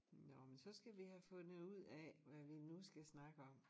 Nå men så skal vi have fundet ud af hvad vi nu skal snakke om